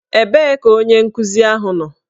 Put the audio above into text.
Ebee ka onye nkuzi ahụ nọ?